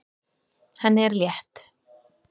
Henni er létt.